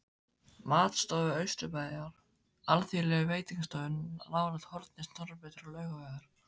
Matstofu Austurbæjar, alþýðlegum veitingastað nálægt horni Snorrabrautar og Laugavegar.